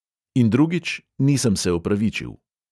In drugič, nisem se opravičil.